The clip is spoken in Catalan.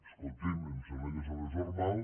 escolti’m em sembla que és el més normal